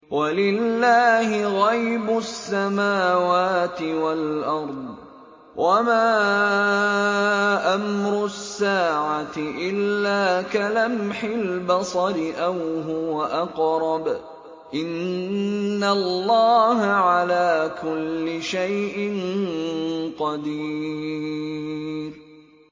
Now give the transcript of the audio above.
وَلِلَّهِ غَيْبُ السَّمَاوَاتِ وَالْأَرْضِ ۚ وَمَا أَمْرُ السَّاعَةِ إِلَّا كَلَمْحِ الْبَصَرِ أَوْ هُوَ أَقْرَبُ ۚ إِنَّ اللَّهَ عَلَىٰ كُلِّ شَيْءٍ قَدِيرٌ